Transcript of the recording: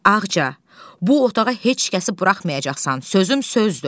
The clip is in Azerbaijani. Ağca, bu otağa heç kəsi buraxmayacaqsan, sözüm sözdür.